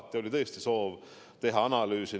Aga meil oli tõesti soov teha enne analüüse.